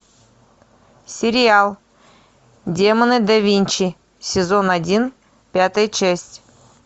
сериал демоны да винчи сезон один пятая часть